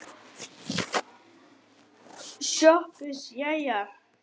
SOPHUS: Jæja!